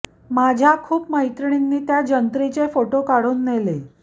माझ्या खूप मैत्रिणींनी त्या जंत्रीचे फोटो काढून नेले